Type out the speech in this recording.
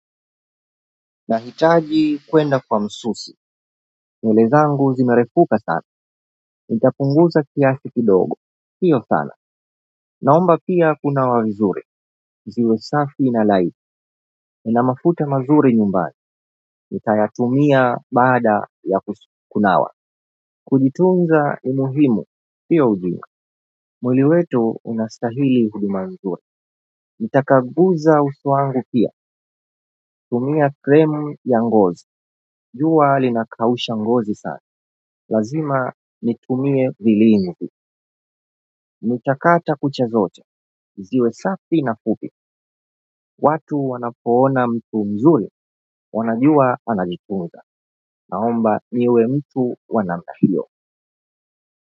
Nahitaji kwenda kwa msusi. Nywele zangu zinarefuka sana. Nitapunguza kiasi kidogo. Sio sana. Naomba pia kuna wazuri. Ziwe safi na laini. Nna mafuta mazuri nyumbani. Nitayatumia bada ya kunawa. Kujitunza ni muhimu sio ujimu. Mwili wetu unastahili huduma nzuri. Nitakanguza uso wangu pia. Tumia krimu ya ngozi. Jua linakausha ngozi sana. Lazima niitumie vilivyo, nitakata kucha zote ziwe safi na fupi, watu wanapoona mtu mzuri, wanajua anajitunza naomba niwe mtu wa namna hiyo.